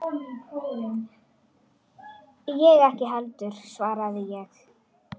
Ég ekki heldur, svaraði ég.